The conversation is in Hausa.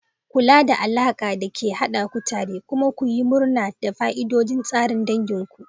Kula da alakar da ke haɗa ku tare kuma ku yi murna da fa'idodin tsarin dangin ku.